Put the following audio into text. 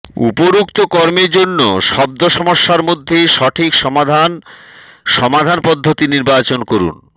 উপরোক্ত কর্মের জন্য শব্দ সমস্যার মধ্যে সঠিক সমাধান সমাধান পদ্ধতি নির্বাচন করুন